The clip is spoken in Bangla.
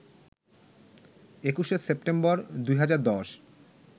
২১শে সেপ্টেম্বর ২০১০